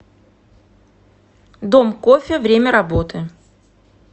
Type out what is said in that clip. дом кофе время работы